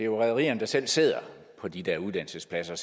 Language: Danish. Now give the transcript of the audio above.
rederierne der selv sidder på de der uddannelsespladser